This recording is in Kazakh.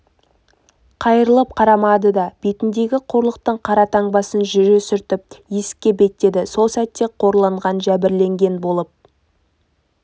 қайырылып қарамады да бетіндегі қорлықтың қара таңбасын жүре сүртіп есікке беттеді сол сәтте қорланған жәбірленген болып